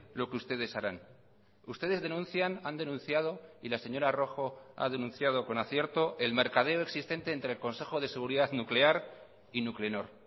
lo que ustedes harán ustedes denuncian han denunciado y la señora rojo ha denunciado con acierto el mercadeo existente entre el consejo de seguridad nuclear y nuclenor